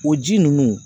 O ji ninnu